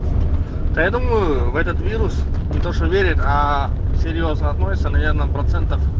да я думаю в этот вирус ни что верят а серьёзно относятся наверное процентов